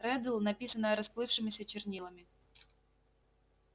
реддл написанное расплывшимися чернилами